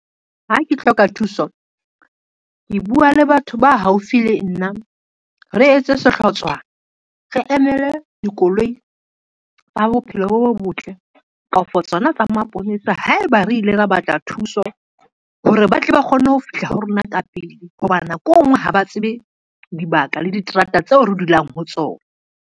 Ha ke hloka thuso, ke bua le batho ba haufi le nna, re etse sehlotswana re emele dikoloi tsa bophelo bo botle kafo tsona tsa maponesa, haeba re ile ra batla thuso hore ba tle ba kgone ho fihla ho rona ka pele, hobane nako e ngwe ha ba tsebe dibaka le diterata tseo re dulang ho tsona.